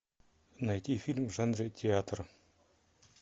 найти фильм в жанре театр